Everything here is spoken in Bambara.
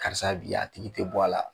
Karisa bi a tigi te bɔ a la